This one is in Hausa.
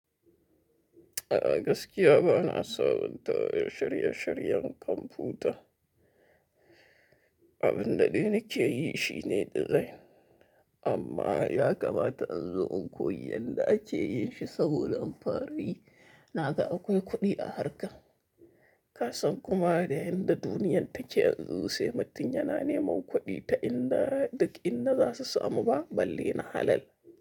A gaskiya ba na sabunta shirye-shiryen kwamfuta. Abin da dai nake yi shi ne design. Amma ya kamata in zo in koyi yanda ake yin shi saboda alin fara yi. Na ga akwai kuɗi a harka. Kasan kuma da yanda duniyar take yanzu, sai mutum ya na neman kuɗi ta in da, duk in za su samu ba, balle na halal.